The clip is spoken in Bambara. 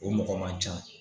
O mɔgɔ man ca